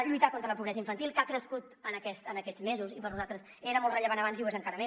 lluitar contra la pobresa infantil que ha crescut aquests mesos i per nosaltres era molt rellevant abans i ho és ara encara més